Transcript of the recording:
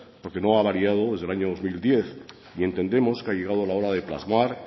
porque no ha variado desde el año dos mil diez y entendemos que ha llegado la hora de plasmar